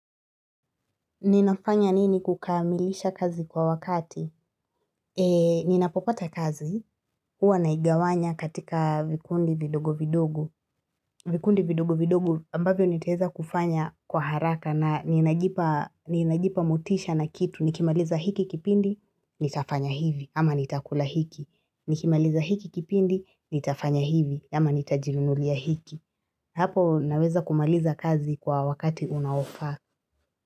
Ninafanya nini kukamilisha kazi kwa wakati? Ninapopata kazi, huwa naigawanya katika vikundi vidogo vidogo. Vikundi vidogo vidogo ambavyo nitaweza kufanya kwa haraka na ninajipa mutisha na kitu. Nikimaliza hiki kipindi, nitafanya hivi, ama nitakula hiki. Nikimaliza hiki kipindi, nitafanya hivi, ama nitajinunulia hiki. Hapo naweza kumaliza kazi kwa wakati unaofaa.